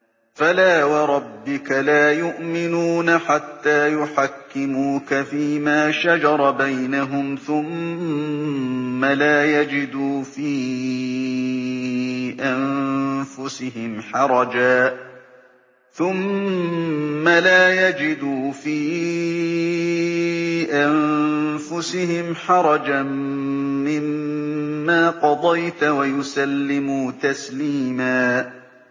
فَلَا وَرَبِّكَ لَا يُؤْمِنُونَ حَتَّىٰ يُحَكِّمُوكَ فِيمَا شَجَرَ بَيْنَهُمْ ثُمَّ لَا يَجِدُوا فِي أَنفُسِهِمْ حَرَجًا مِّمَّا قَضَيْتَ وَيُسَلِّمُوا تَسْلِيمًا